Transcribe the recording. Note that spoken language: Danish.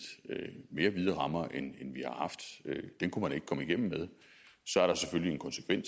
mere vide rammer end vi har haft den kunne man ikke komme igennem med så er der selvfølgelig